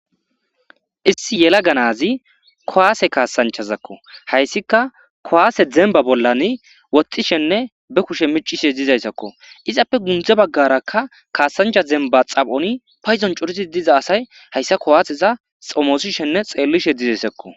Issi yellaga nazi kuwase kassanchazako hayssika kuwasse dembba bollan woxxishene be kushshe miccishe diizayssako iizappe sinththe baggdaaraka kassancha dembba xaphphon payddon cooridi diiza asati hayssa kuwaseza xoomossishene xellishe diizaysssko.